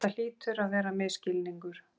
Þetta hlýtur að vera misskilningur.